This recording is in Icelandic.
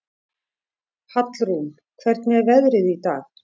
Hallrún, hvernig er veðrið í dag?